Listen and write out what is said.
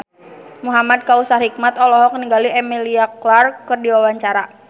Muhamad Kautsar Hikmat olohok ningali Emilia Clarke keur diwawancara